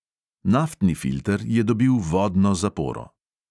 Naftni filter je dobil vodno zaporo.